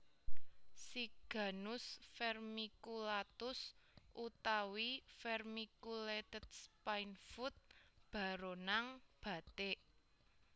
Siganus Vermiculatus utawi vermiculated Spinefoot baronang batik